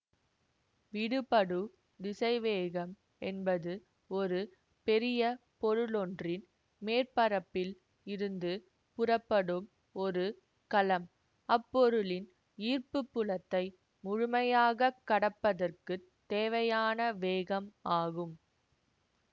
விடுபடு திசைவேகம் என்பது ஒரு பெரிய பொருளொன்றின் மேற்பரப்பில் இருந்து புறப்படும் ஒரு கலம் அப்பொருளின் ஈர்ப்புப் புலத்தை முழுமையாக கடப்பதற்குத் தேவையான வேகம் ஆகும்